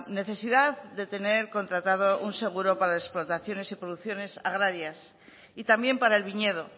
necesidad de tener contratado un seguro para explotaciones y producciones agrarias y también para el viñedo